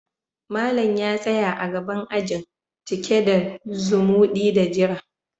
Malam ya tsaya a gaban ajin, cike da zumudi da jira.